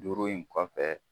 Duuru in kɔfɛ